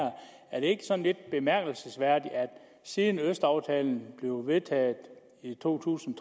er er det ikke sådan lidt bemærkelsesværdigt at siden østaftalen blev vedtaget i to tusind